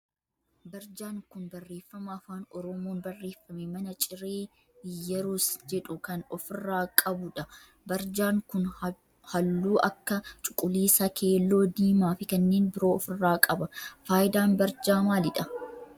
Barjaan kun barreeffama afaan oromoon barreeffame mana ciree Iyyerus jedhu kan of irraa qabu dha. Barjaan kun halluu akka cuquliisa, keelloo, diimaa fi kanneen biroo of irraa qaba. Faayidaan barjaa maalidha?